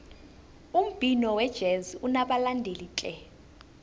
umbhino wejezi unabalandeli tle